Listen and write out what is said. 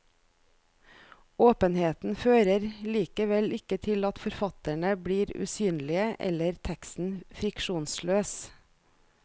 Åpenheten fører likevel ikke til at forfatterne blir usynlige eller teksten friksjonsløs.